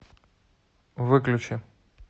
выключи